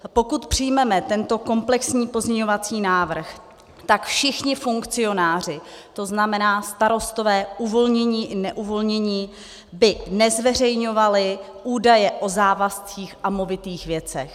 Pokud přijmeme tento komplexní pozměňovací návrh, tak všichni funkcionáři, to znamená starostové uvolnění i neuvolnění, by nezveřejňovali údaje o závazcích a movitých věcech.